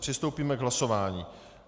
Přistoupíme k hlasování.